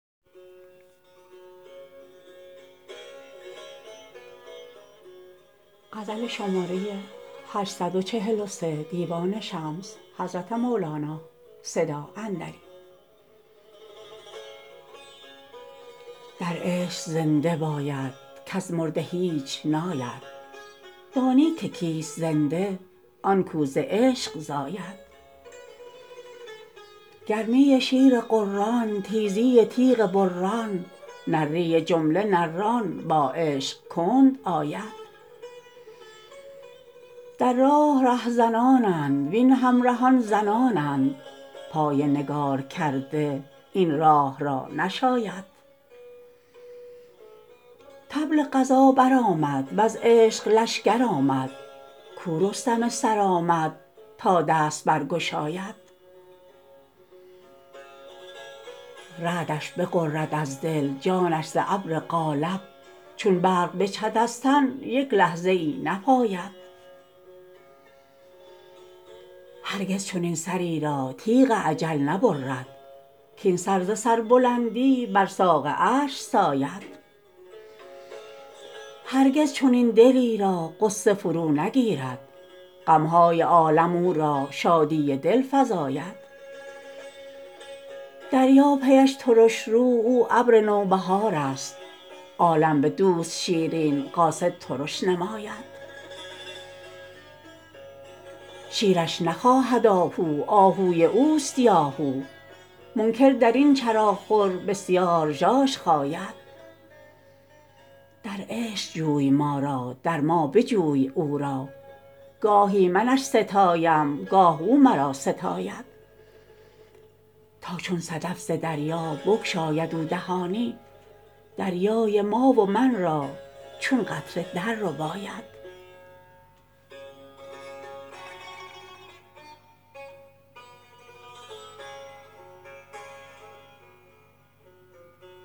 در عشق زنده باید کز مرده هیچ ناید دانی که کیست زنده آن کو ز عشق زاید گرمی شیر غران تیزی تیغ بران نری جمله نران با عشق کند آید در راه رهزنانند وین همرهان زنانند پای نگارکرده این راه را نشاید طبل غزا برآمد وز عشق لشکر آمد کو رستم سرآمد تا دست برگشاید رعدش بغرد از دل جانش ز ابر قالب چون برق بجهد از تن یک لحظه ای نپاید هرگز چنین سری را تیغ اجل نبرد کاین سر ز سربلندی بر ساق عرش ساید هرگز چنین دلی را غصه فرو نگیرد غم های عالم او را شادی دل فزاید دریا پیش ترش رو او ابر نوبهارست عالم بدوست شیرین قاصد ترش نماید شیرش نخواهد آهو آهوی اوست یاهو منکر در این چراخور بسیار ژاژ خاید در عشق جوی ما را در ما بجوی او را گاهی منش ستایم گاه او مرا ستاید تا چون صدف ز دریا بگشاید او دهانی دریای ما و من را چون قطره دررباید